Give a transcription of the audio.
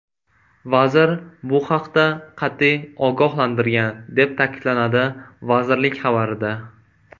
Vazir bu haqda qat’iy ogohlantirgan”, deb ta’kidlanadi vazirlik xabarida.